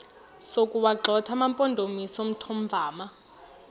sokuwagxotha amampondomise omthonvama